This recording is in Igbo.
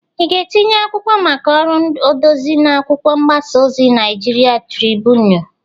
I ga-etinye akwụkwọ maka ọrụ odezi n'akwụkwọ mgbasa ozi Naịjịrịan Tribụnu?